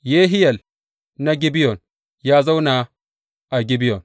Yehiyel na Gibeyon ya zauna a Gibeyon.